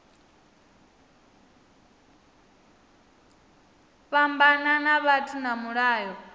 fhambana ha vhathu na mulayo